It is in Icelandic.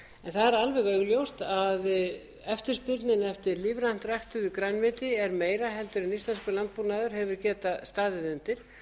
það er alveg augljóst að eftirspurnin eftir lífrænt ræktuðu grænmeti er meiri en íslenskur landbúnaður hefur getað staðið undir